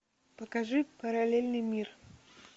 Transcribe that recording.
покажи параллельный мир